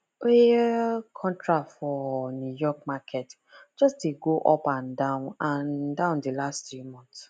oil contract price for new york market just de go up and down and down the last three months